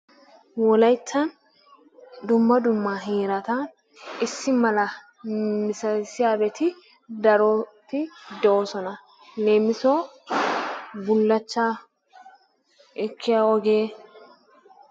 Wolaytta dumma dumma heerata issi mala misatissiyageti daroti de'oosona. Leemissuwawu bullaachchaa ekkiyo wogee...